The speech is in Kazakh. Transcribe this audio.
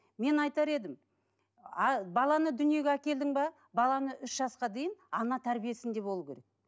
мен айтар едім ааа баланы дүниеге әкелдің бе баланы үш жасқа дейін ана тәрбиесінде болу керек